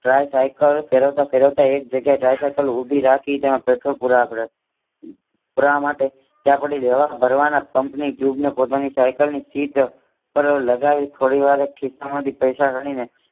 try cycle ફેરવતા ફેરવતા એક જગ્યાએ દ્રાય સાયકલ ઉભી રાખી તેમાં પેટ્રોલ પુરાવા પુરાવા માટે ત્યાં પછી હવા ભરવાના પમ્પ ની ટ્યુબ ને પોતાની સાયકલની સહિત પર લગાવી થોડી વાર ખિસ્સા માંથી પૈસા ગણીને